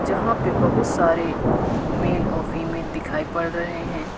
यहां पे बहुत सारे मेल और फीमेल दिखाई पड़ रहे हैं।